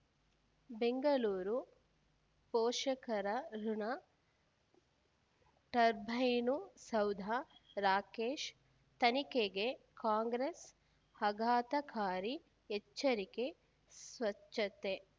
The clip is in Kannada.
ಬೆಂಗಳೂರು ಪೋಷಕರಋಣ ಟರ್ಬೈನು ಸೌಧ ರಾಕೇಶ್ ತನಿಖೆಗೆ ಕಾಂಗ್ರೆಸ್ ಆಘಾತಕಾರಿ ಎಚ್ಚರಿಕೆ ಸ್ವಚ್ಛತೆ